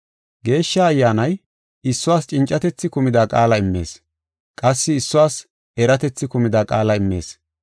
Geeshsha Ayyaanay issuwas cincatethi kumida qaala immees; qassi issuwas eratethi kumida qaala immees.